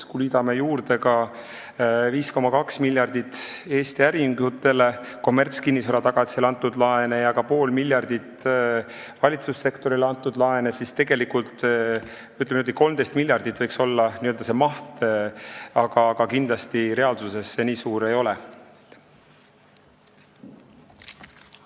Kui me liidame juurde 5,2 miljardit Eesti äriühingutele kommertskinnisvara tagatisel antud laenud ja ka pool miljardit valitsussektorile antud laenud, siis võiks see maht olla 13 miljardit, aga kindlasti see reaalsuses nii suur olema ei hakka.